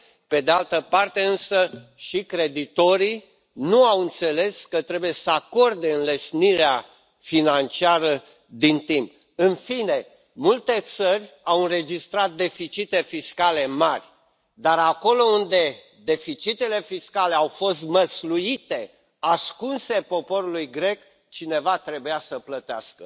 Pe de altă parte însă, nici creditorii nu au înțeles că trebuie să acorde înlesnirea financiară din timp. În fine, multe țări au înregistrat deficite fiscale mari, dar acolo unde deficitele fiscale au fost măsluite, ascunse poporului grec, cineva trebuia să plătească.